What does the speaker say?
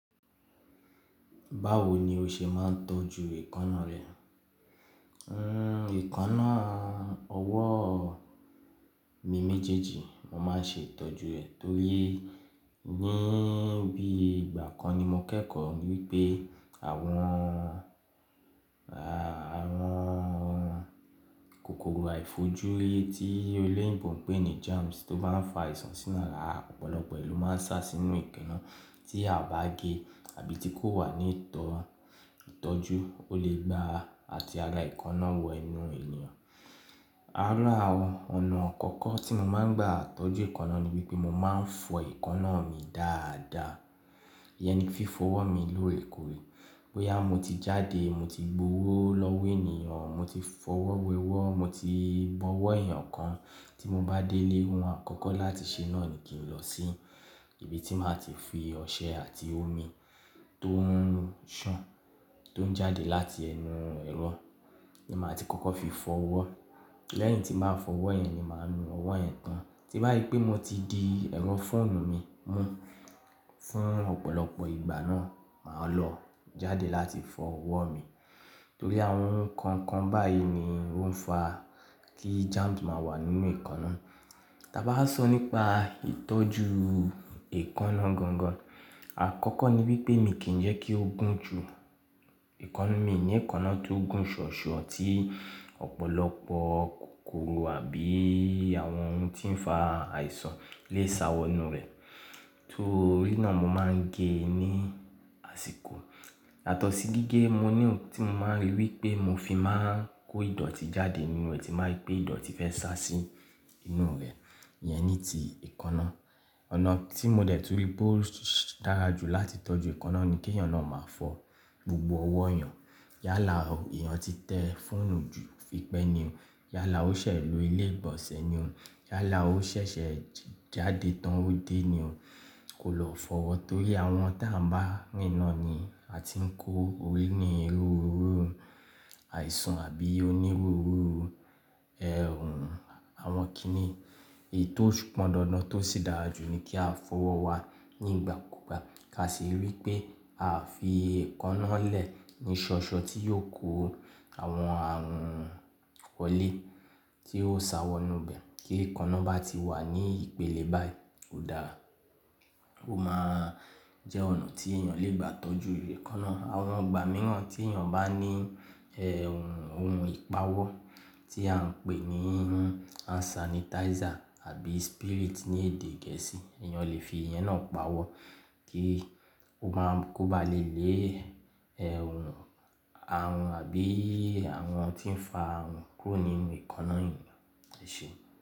Báwo ni o ṣe máa ń tọ́jú èékánná rẹ? Èékánná ọwọ́ mìi méjéèjì mo máa ń ṣe ìtọ́jú ẹ̀ torí ní bíi ìgbà kan ni mo kẹ́kọ̀ọ́ wípé àwọn, àwọn kòkòrò àìfojúrí tí eléyìnbó máa ń pè ní germs tó máa ń fa àìsàn sí'yàn lára, ọ̀pọ̀lọpọ̀ ló máa n sá sínú èékánná tí a bá ge àbí tí kò wà ní ìtọ́jú, ó lè gba àti èékánná wọ ẹnu ènìyàn. Ara ọ̀nà àkọ́kọ́ tí mo máa ń gbà tọ́jú èékánná ni wípé mo máa ń fọ èékánná mi dáada. Ìyẹn ni fífo ọwọ́ mi lóorè korè. Bóyá mo ti jáde, mo ti gb'owó lọ́wó ènìyàn, mo ti f'ọwọ́ wẹ ọwọ́, mo ti bọwọ́ ènìyàn kan, tí mo bá dé ilé, ohun àkọ́kọ́ láti ṣe náà ni kí n lọ sí ibi tí màá ti fi ọṣẹ àti omi tó ń ṣàn tó ń jáde láti ẹnu ẹ̀rọ ni màá ti kọ́kọ́ fi fọ ọwọ́. Lẹ́yìn tí màá fọ ọwọ́ yẹn ni màá nu ọwọ́ yẹn tán. Ti bá ri pé mo ti di ẹ̀rọ fóònù mi mú fún ọ̀pọ̀lọpọ̀ ìgbà náà, màá lọ jáde láti fọ ọwọ́ mìi torí àwon òhun kàankan báyìí ni óún fa kí germsi ma wà lówó. Ta bá sọ nípa ìtọ́jú èékánná gan gan, àkọ́kọ́ ni wípé mi kì ń jẹ́ kí ó gùn jù. Mi ò ní èékánná tí ó gùn shìòshìò tí òpòlopò kòkòrò àbí àwon oun tí fa àìsàn lè sá sínú rè. Torí náà mo máa ń ge ní àsìkò. Yàtọ̀sì gígé, mo ní ohun tí mo máa ń ri wípé mo fi máa ń kó ìdọ̀tí jáde nínú rẹ̀ tí bá ri pé ìdọ̀tí fẹ́ sá sí ínú rẹ̀, yẹn ni ti èékánná. Ọ̀nà tí mo dẹ̀ tún wipé ó dára jù láti tọ́jú èékánná ni kí ènìyàn náà máa fọ gbogbo ọwọ́ èyàn. Yálà èèyàn ti te fóònù jù tipẹ́ ni o. Yálà ó ṣẹ̀ lo ilé ìgbọ̀nsẹ̀ ni o. Yálà ó ṣẹ̀ṣẹ̀ jáde tán ó dé ni o. Kò lọ fọwọ́ torí àwọn tí à ń bá mi rìn ń ni a ti ń kó orí inú onírúurú, àìsàn àbí onírúurú àwọn kíni. Èyí tó pọn dandan tó sì dára jù ni kí a fọwọ́ wa nígbà kúgbà ká sì rí pé à ń fi èékánná lẹ̀ ní ṣoṣo tí yóò kó àwọn àrùn wọ́lé tí ó sa wọ inú bẹ́ẹ̀. Kí èékánná bá ti wà ní ìpele báyìí, kò dára. Ó máa jẹ́ ọ̀nà tí èèyàn lè gbà tọ́jú èékánná. Àwọn ìgbà mìíràn tí èèyàn bá ní ohun ìpawọ́ tí à ń pè ní hand sanitizer àbí spirit ní èdè gẹ̀ẹ́sì, èèyàn lè fi yẹn náà pawọ́ kí ó máa kóbá le lé àrùn àbí àwọn ohun tí ń fa àrùn kúrò nínú èékánná èèyàn. Ṣé.